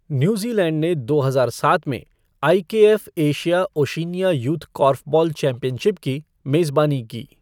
New Zealand ने दो हजार सात में I K F Asia Oceania youth korfball championship की मेजबानी की।